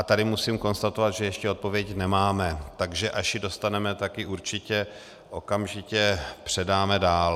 A tady musím konstatovat, že ještě odpověď nemáme, takže až ji dostaneme, tak ji určitě okamžitě předáme dál.